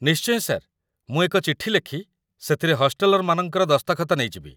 ନିଶ୍ଚୟ ସାର୍, ମୁଁ ଏକ ଚିଠି ଲେଖି, ସେଥିରେ ହଷ୍ଟେଲର୍‌ମାନଙ୍କର ଦସ୍ତଖତ ନେଇଯିବି